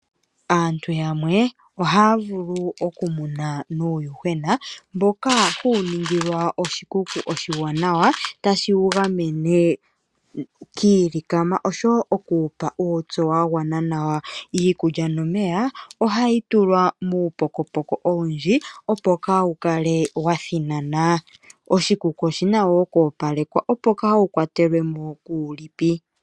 Aantu yamwe ohaa vulu okumuna nuuyuhwena mboka huu ningilwa oshikuku oshiwanawa, tashi wu gamene kiilikama osho woo oku wupa uutsu wa gwana nawa. Iikulya nomeya ohayi tulwa muupokopoko owundji opo kaa wukale wathinana, oshikuku oshina woo okoopalekwa opo kawu kwa telwemo kuulipi.